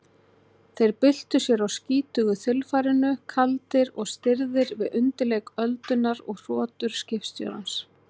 Þeir byltu sér á skítugu þilfarinu, kaldir og stirðir, við undirleik öldunnar og hrotur skipstjórans